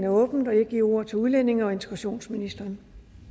åbnet og jeg giver ordet til udlændinge og integrationsministeren